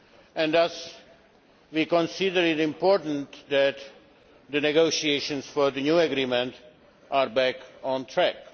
and thus we consider it important that the negotiations for the new agreement are back on track.